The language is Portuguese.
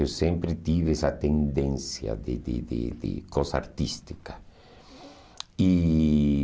Eu sempre tive essa tendência de de de de coisa artística. E